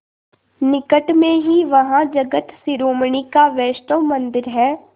निकट में ही वहाँ जगत शिरोमणि का वैष्णव मंदिर है